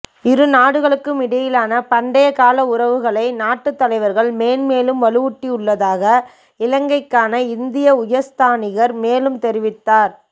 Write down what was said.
இரு நாடுகளுக்கும் இடையிலான பண்டைய கால உறவுகளை நாட்டுத்தலைவர்கள் மென்மேலும் வலுவூட்டியுள்ளதாக இலங்கைக்கான இந்திய உயர்ஸ்தானிகர் மேலும் தெரிவித்தார்